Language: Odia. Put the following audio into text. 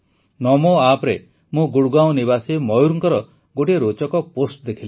ନମୋ ଆପ୍ରେ ମୁଁ ଗୁଡ଼ଗାଁଓ ନିବାସୀ ମୟୂରଙ୍କର ଗୋଟିଏ ରୋଚକ ପୋଷ୍ଟ ଦେଖିଲି